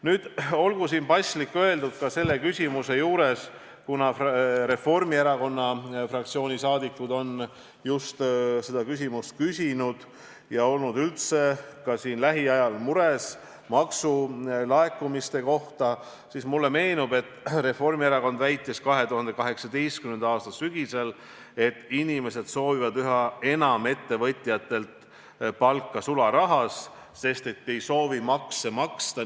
Nüüd, ehk on paslik selle küsimuse juurde öelda – Reformierakonna fraktsiooni liikmed on just selle küsimuse esitanud ja olnud üldse mures maksulaekumiste pärast –, et mulle meenub, et Reformierakond väitis 2018. aasta sügisel, et inimesed soovivad üha enam ettevõtjatelt palka sularahas, sest ei soovi makse maksta.